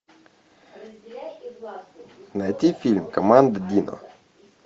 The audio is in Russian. найти фильм команда дино